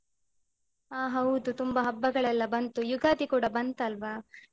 ಅ ಹೌದು ತುಂಬ ಹಬ್ಬಗಳೆಲ್ಲ ಬಂತು, ಯುಗಾದಿ ಕೂಡ ಬಂತಲ್ವಾ?